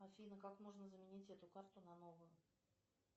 афина как можно заменить эту карту на новую